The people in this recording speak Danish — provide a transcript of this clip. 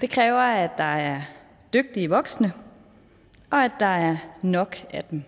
det kræver at der er dygtige voksne og at der er nok af dem